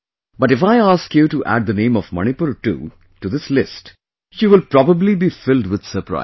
But if I ask you to add the name of Manipur too to this list you will probably be filled with surprise